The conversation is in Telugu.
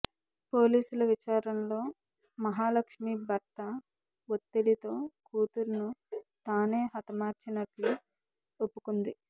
పోలీసుల విచారణలో మహాలక్ష్మి భర్త ఒత్తిడితో కూతురును తానే హతమార్చినట్లు ఒప్పుకుంది